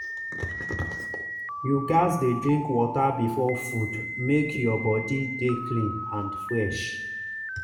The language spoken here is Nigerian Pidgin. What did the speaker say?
you gats dey drink water before food make your body dey clean and fresh.